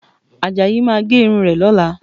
Àjàyí máa gé irun rẹ̀ lọ́la